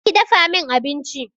Je ki dafa min abinci